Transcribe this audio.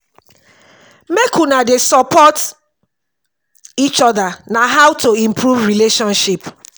make una dey support eachoda na how to improve relationship